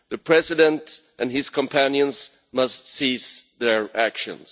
The President and his companions must cease their actions.